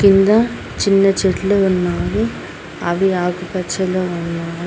కింద చిన్న చెట్లు ఉన్నావు అవి ఆకుపచ్చలు ఉన్నాయి.